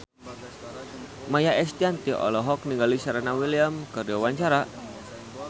Maia Estianty olohok ningali Serena Williams keur diwawancara